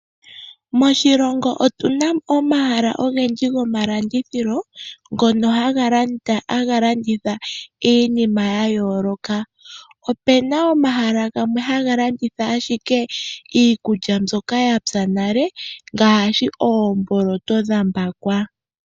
Moshilongo otuna mo omahala ogendji gomalandithilo ngono haga landitha iinima ya yooloka. Opena omahala gamwe haga landitha ashike iikulya mbyoka ya pya nale ngaashi oomboloto dha mbakwa.